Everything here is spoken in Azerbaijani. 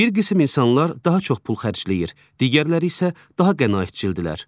Bir qisim insanlar daha çox pul xərcləyir, digərləri isə daha qənaətcildirlər.